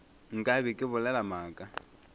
nka be ke bolela maaka